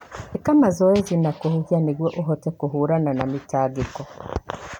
íka mazoezi ma kũhuhia nĩguo ũhote kũhũrana na mĩtangĩko.